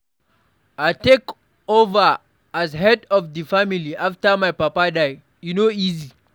I take over as head of di family after my papa die, e no easy.